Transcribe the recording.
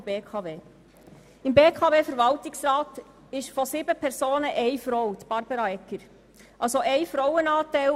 Im BKW-Verwaltungsrat gibt es gegenwärtig unter sieben Personen eine Frau, nämlich Regierungsrätin Barbara Egger.